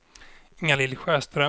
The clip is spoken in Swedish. Inga-Lill Sjöström